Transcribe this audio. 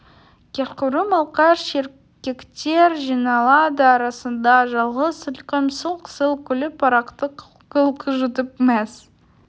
кешқұрым алқаш еркектер жиналады арасында жалғыз сылқым сылқ-сылқ күліп арақты қылқ-қылқ жұтып мәз